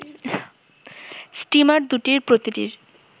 steamer দুটির প্রতিটির